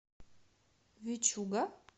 вичуга